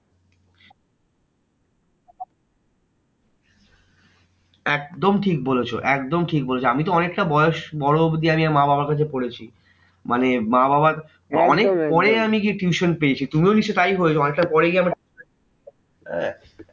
একদম ঠিক বলেছো একদম ঠিক বলেছো আমিতো অনেকটা বয়স বড় অব্ধি আমি মা বাবার কাছে পড়েছি। মানে মা বাবার অনেক পরে আমি গিয়ে tuition পেয়েছি। তুমিও নিশ্চই তাই করেছো অনেকটা পরে গিয়ে